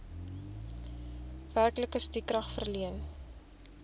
werklike stukrag verleen